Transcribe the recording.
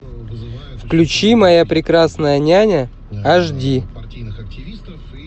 включи моя прекрасная няня аш ди